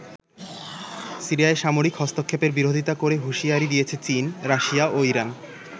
সিরিয়ায় সামরিক হস্তক্ষেপের বিরোধিতা করে হুশিয়ারি দিয়েছে চীন, রাশিয়া ও ইরান।